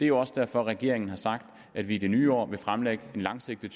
jo også derfor regeringen har sagt at vi i det nye år vil fremlægge en langsigtet